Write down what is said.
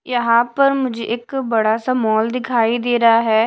यहां पर मुझे एक बड़ा सा मॉल दिखाई दे रहा है।